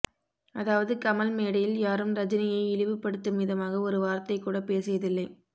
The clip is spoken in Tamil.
அதாவது கமல் மேடையில் யாரும் ரஜினியை இழிவுபடுத்தும் விதமாக ஒரு வார்த்தை கூட பேசியதில்லை